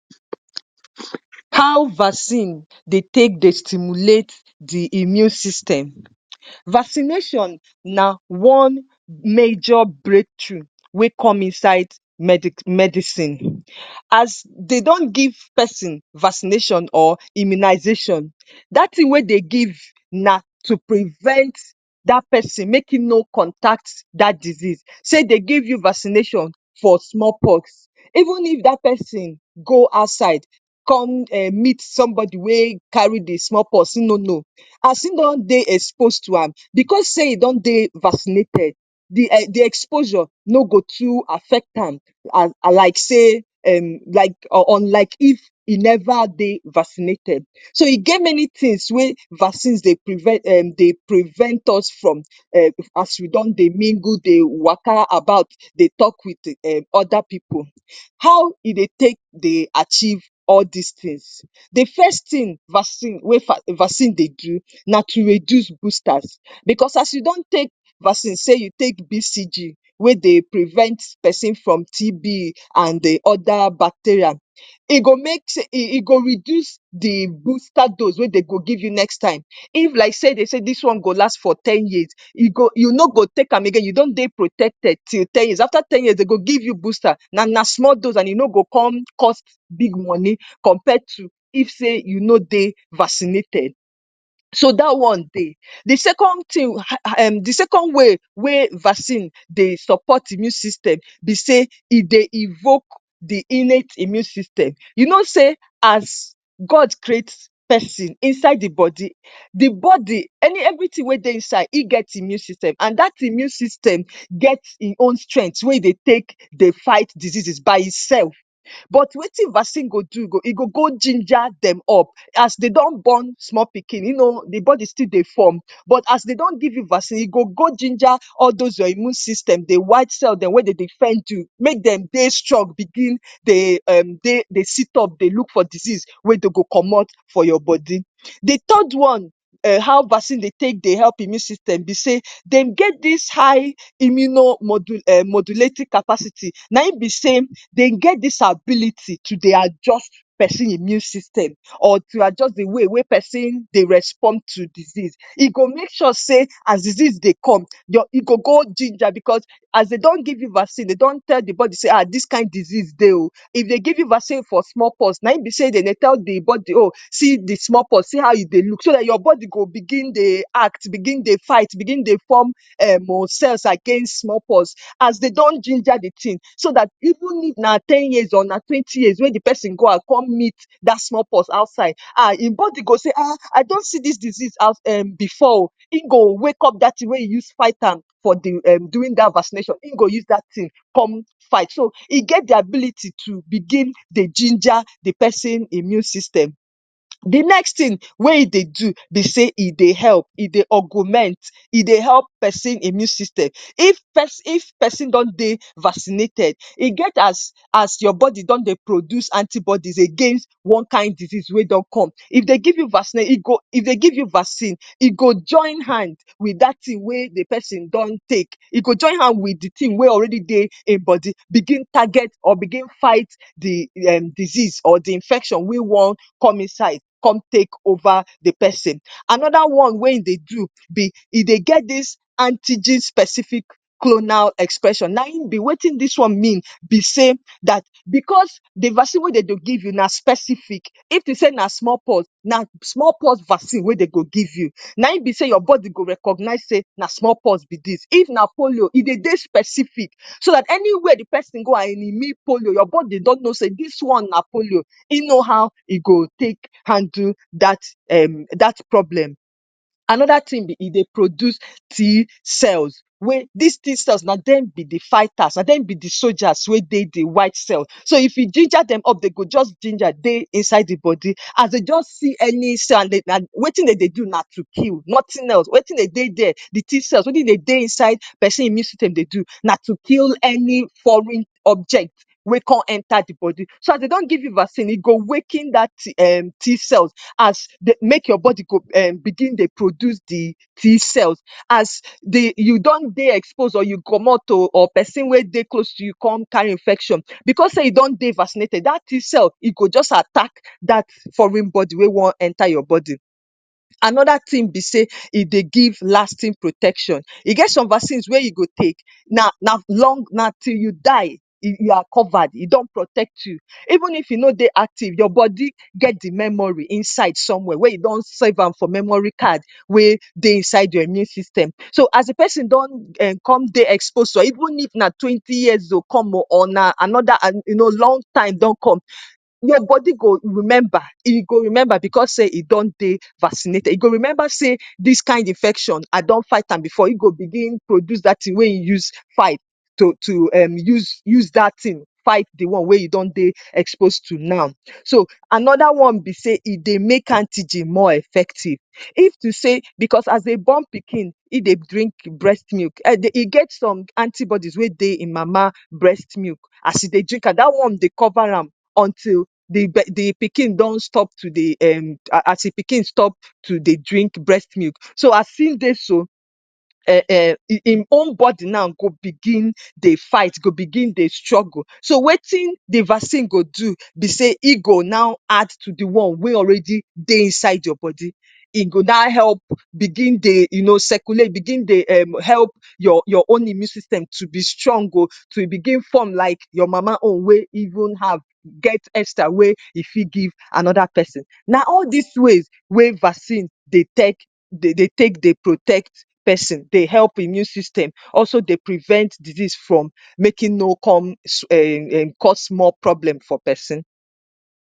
How vaccine dey take dey stimulate the immune system. Vaccination na one major breakthrough wey come inside medicine. As they don give pesin vaccination or immunization, dat thing wey they give na to prevent dat pesin make e no contact dat disease. Sey, they give you vaccination for smallpox even if dat pesin go outside, come um meet somebody wey carry the smallpox, he no know. As he don dey exposed to am, because sey e don dey vaccinated, the um the exposure no go to affect am, unlike sey um like unlike if e never dey vaccinated. So e get many things wey vaccines dey prevent um dey prevent us from um as we don dey mingle, dey waka about, dey talk with um other pipu. How e dey take dey achieve all these things? The first thing vaccine wey vaccine dey do, na to reduce boosters, because as you don take vaccine, sey you take BCG, wey dey prevent pesin from TB and the other bacteria. E go make, e go reduce the booster dose wey they go give you next time. If like sey, they say dis one go last for ten years, e go you no go take am again. You don get protected till ten years. After ten years, they go give you booster na na small dose and e no go con cost big money compared to if sey, you no dey vaccinated. So dat one dey. The second thing, um the second way wey vaccine dey support immune system be sey, e dey evoke the innate immune system. You know sey as God create pesin inside the body, the body any everything wey dey inside, e get immune system. And dat immune system get e own strength wey e dey take dey fight diseases by itself. But wetin vaccine go do? e go go ginger dem up. As dey don born small pikin, e no know the body still dey form, but as dey don give you vaccine, e go go ginger all dose your immune system. The white cell dem wey dey defend you. Make dem dey strong, begin, dey um dey sit up, dey look for disease, wey dey go comot for your body. The third one, how vaccine dey take dey help immune system be sey, they get dis high immuno modulating capacity. Na im be sey, they get dis ability to dey adjust person immune system or to adjust the way wey pesin dey respond to disease. E go make sure sey, as disease dey come, your e go go ginger because as they don give you vaccine, they don tell the body sey dis kind disease dey oh. If dey give you vaccine for small pox, na im be sey de dey tell the body oh, see the smallpox, see how e dey look. So dat your body go begin dey act, begin dey fight, begin form um cells against smallpox. As they don ginger the thing, so dat even if na ten years or na twenty years wey the pesin go out come meet dat smallpox outside, ha, im body go say, ah, I don see dis disease um before. Im go wake up dat thing wey you use fight am for the during dat vaccination. Im go use dat thing come fight. So e get the ability to begin dey ginger the person immune system. The next thing wey e dey do be sey, e dey help, e dey augment, e dey help pesin immune system. If pesin don dey vaccinated, e get as as your body don dey produce antibodies against one kind disease wey don come. If dey give you vaccine, e go, if dey give you vaccine, e go join hand with dat thing wey the pesin don take. E go join hand with the thing wey already dey im body, begin target or begin fight the um disease or the infection wey wan come inside come take over the pesin. Another one wey e dey do be e dey get dis anti-gene specific clonal expression. Na im be wetin dis one mean be sey dat because the vaccine wey de dey give na specific. If to sey na smallpox, na smallpox vaccine wey de go give you. Na im be sey your body go recognize sey na smallpox be dis. If na polio, e dey dey specific, so dat anywhere the pesin go and e meet polio, your body don know sey dis one na polio. E know how e go take handle dat um dat problem. Another thing be e dey produce T cells wey dis T cells na dem be the fighters, na dem be the soldiers wey dey the white cells. So if you ginger dem up, they go just ginger dey inside the body. As they just see any cell and they wetin de dey do na to kill nothing else. Wetin de dey dere, the T cells, wetin they dey inside pesin immune system dey do? na to kill any foreign object wey con enter the body. So as they don give you vaccine, e go waking dat [um]T cells, has make your body go begin dey produce the T cells. As then you don dey exposed or you comot oh or person wey dey close con carry infection. Because sey you don dey vaccinated, dat T cell e go just attack dat foreign body wey wan enter your body. Another thing be sey, e dey give lasting protection. E get some vaccines wey you go take, na na long, na till you di, you are covered. E don protect you. Even if you no dey active, your body get the memory inside somewhere wey you don save am for memory card wey dey inside your immune system. So as the pesin don come dey expose oh or even if na twenty years to come oh or another, you know, long time don come, your body go remember. E go remember, because sey e don dey vaccinated. E go remember sey, dis kind infection, I don fight am before. E go begin produce dat thing wey you use fight. To to um use dat thing fight the one wey you don dey exposed to now. So, another one be sey, e dey make antigen more effective. If to sey because as dey born pikin, e dey drink breast milk and e get some antibodies wey dey im mama breast milk. As e dey drink am, dat one dey cover am until the the pikin don stop to dey um as the pikin stop to dey drink breast milk. So, as im dey so, um im own body now go begin dey fight. Go begin dey struggle. So, wetin the vaccine go do be sey e go now add to the one wey already dey inside your body. E go now help begin dey circulate, begin dey help your own immune system, to be strong oh, to begin form like your mama own wey even have get extra wey e fit give another pesin. Na all des ways wey vaccine dey dey take dey protect pesin, dey help immune system, also dey prevent disease from make e no come um cause more problem for person.